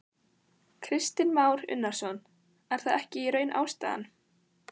Kristinn Már Unnarsson: Er það ekki í raun ástæðan?